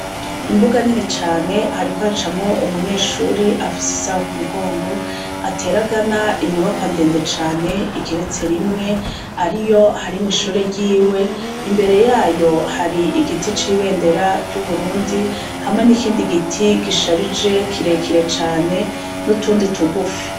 Imbuga nini cane hariko acamwo umunyeshuri afise isaho ku mugongo ateragana inyubako andende cane ikeretse rimwe ari yo harimwo ishuri ryiwe imbere yayo hari igiti c'ibendera ry'uburundi hamwe n'ikindi giti gisharije kirekire cane n'utundi tugufi.